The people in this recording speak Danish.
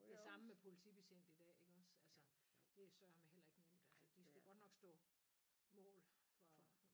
Det samme med politibetjente i dag iggås altså det er sørme heller ikke nemt altså de skal godt nok stå mål for